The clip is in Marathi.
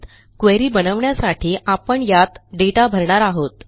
क्वेरी बनवण्यासाठी आपण यात दाता भरणार आहोत